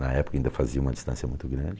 Na época ainda fazia uma distância muito grande.